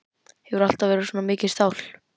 Hefurðu alltaf verið svona mikið stál?